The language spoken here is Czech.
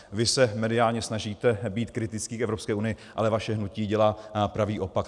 Vy se mediálně snažíte být kritický k EU, ale vaše hnutí dělá pravý opak.